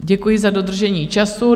Děkuji za dodržení času.